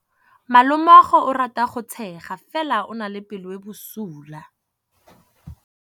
Malomagwe o rata go tshega fela o na le pelo e e bosula.